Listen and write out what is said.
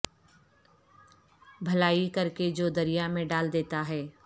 بھلائی کر کے جو دریا میں دال دیتا ہے